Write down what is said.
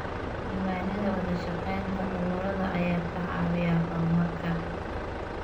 Diiwaanada wada shaqaynta ururada ayaa ka caawiya horumarka.